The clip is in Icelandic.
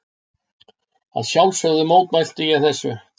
Að sjálfsögðu mótmælti ég þessu.